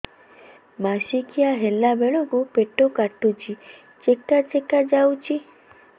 ମାସିକିଆ ହେଲା ବେଳକୁ ପେଟ କାଟୁଚି ଚେକା ଚେକା ଯାଉଚି